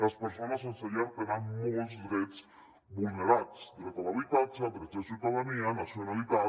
les persones sense llar tenen molts drets vulnerats dret a l’habitatge drets de ciutadania nacionalitat